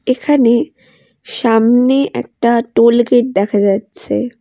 এখানে সামনে একটা টোল গেট দেখা যাচ্ছে।